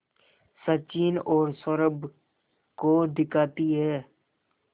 सचिन और सौरभ को दिखाती है